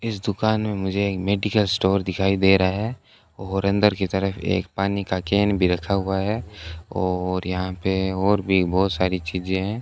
इस दुकान में मुझे एक मेडिकल स्टोर दिखाई दे रहा है और अंदर की तरफ एक पानी का केन भी रखा हुआ है और यहां पे और भी बहुत सारी चीजें हैं।